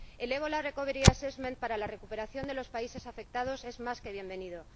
El Ebola Recovery Assessment para la recuperación de los países afectados, es más que bienvenido.